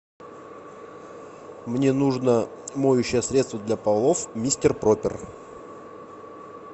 мне нужно моющее средство для полов мистер пропер